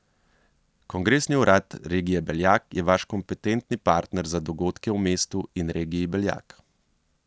Kongresni urad regije Beljak je vaš kompetentni partner za dogodke v mestu in regiji Beljak.